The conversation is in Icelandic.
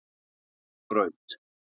Mýrarbraut